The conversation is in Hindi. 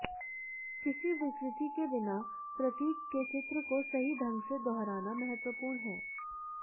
किसी विकृति के बिना प्रतीक के चित्र को सही ढंग से दोहराना महत्वपूर्ण है